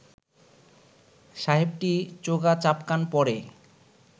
সাহেবটি চোগা চাপকান পরে